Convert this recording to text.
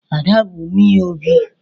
Ada bụ nwunye Obi.